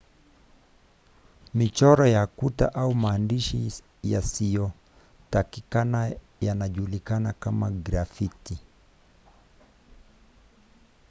michoro ya kuta au maandishi yasiyotakikana yanajulikana kama grafiti